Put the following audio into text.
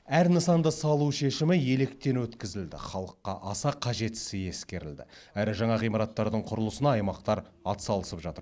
әр нысанды салу шешімі електен өткізілді халыққа аса қажеттісі ескерілді әрі жаңа ғимараттардың құрылысына аймақтар атсалысып жатыр